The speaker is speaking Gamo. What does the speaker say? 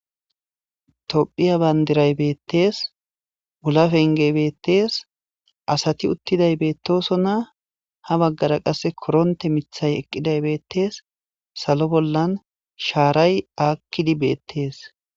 Tophiya bandiray beetes, wula fengey beetes, asati uttiday beetosona, ha baggara qase koronte miththay eqqiday beetes, salo bollan shaaray aakidi beetes.